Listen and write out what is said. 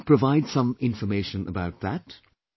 Can you provide some information about that